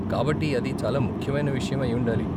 కాబట్టి అది చాలా ముఖ్యమైన విషయం అయి ఉండాలి?